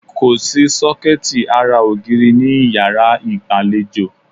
Kòsí sọ́kẹ̀tì ara ògiri ní ìyárá ìgbàlejò.